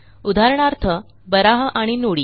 उदाहरणार्थ बारहा आणि नुडी